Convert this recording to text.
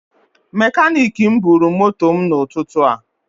Mekanik m bụrụ moto mụ na ụtụtụ a